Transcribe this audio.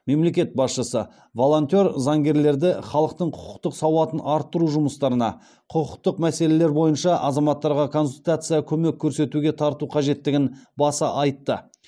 мемлекет басшысы волонтер заңгерлерді халықтың құқықтық сауатын арттыру жұмыстарына құқықтық мәселелер бойынша азаматтарға консультация көмек көрсетуге тарту қажеттігін баса айтты